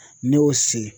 Ne y'o se